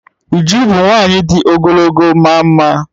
Uju bu nwanyi di ogologo ma maa mma